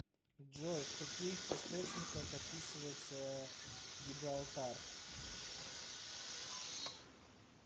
джой в каких источниках описывается гибралтар